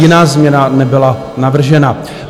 Jiná změna nebyla navržena.